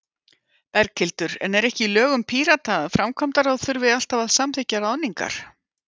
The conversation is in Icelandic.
Berghildur: En er ekki í lögum Pírata að framkvæmdaráð þurfi alltaf að samþykkja ráðningar?